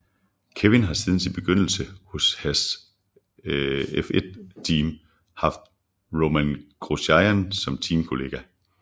Kevin har siden sin begyndelse hos Haas F1 Team haft Romain Grosjean som teamkollega